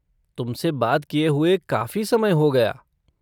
तुमसे बात किए हुए काफ़ी समय हो गया।